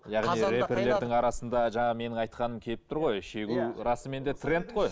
рэперлердің арасында жаңағы менің айтқаным келіп тұр ғой шегу расымен де трэнд қой